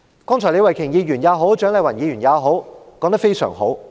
剛才李慧琼議員和蔣麗芸議員均說得非常好。